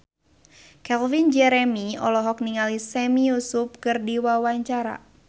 Calvin Jeremy olohok ningali Sami Yusuf keur diwawancara